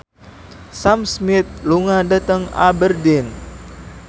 Sam Smith lunga dhateng Aberdeen